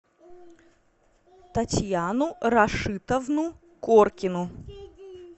татьяну рашитовну коркину